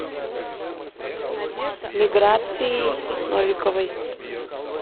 миграцией новиковой